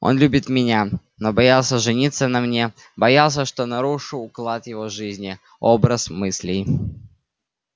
он любит меня но боялся жениться на мне боялся что нарушу уклад его жизни образ мыслей